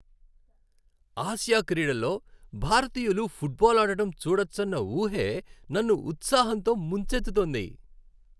Asia క్రీడల్లో భారతీయులు football ఆడటం చూడచ్చన్న ఊహే నన్ను ఉత్సాహంతో ముంచెత్తుతోంది.